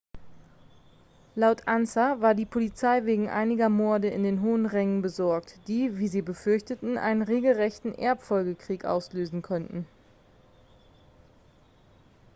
laut ansa war die polizei wegen einiger morde in den hohen rängen besorgt die wie sie befürchteten einen regelrechten erbfolgekrieg auslösen könnten